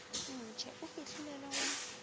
ntshe o fihlile le go